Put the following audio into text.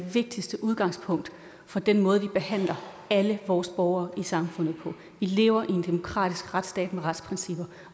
det vigtigste udgangspunkt for den måde vi behandler alle vores borgere i samfundet på vi lever i en demokratisk retsstat med retsprincipper